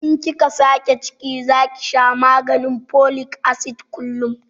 In kika sake ciki zaki sha maganin folik asid kullum